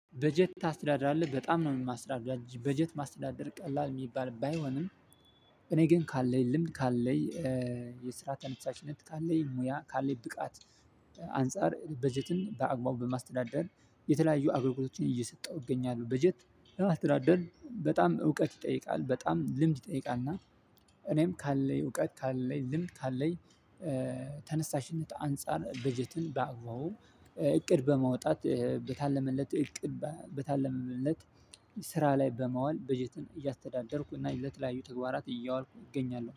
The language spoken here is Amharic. በጀት ታስተዳድራለህ በጣም ነው የማስተዳደር በጀት ማስተዳደር ቀላል የሚባል ባይሆንም እኔ ግን ካለኝ ልምድ ካለኝ የስራ ተነስታችነት ካለኝ ሙያ ካለኝ ብቃት አንፃር በጀትን በአግባቡ በማስተዳደር የተለያዩ አገልግሎቶችን እየሰጠሁ እገኛለው። በጀት ለማስተዳደር በጣም እውቀት ይጠይቃል በጣም ልምድ ይጠይቃልና። እኔም ካለኝ እውቀት ካለኝ ልምድ ካለኝ። ተነሳሽነት አንፃር በጀትን በአግባቡ እቅድ በማውጣት በታለመለት እቅድ በታለመለት ስራ ላይ በማዋል በጀትን እያስተዳደርኩ እና ለተለያዩ ተግባራት እያዋልኩ እገኛለሁ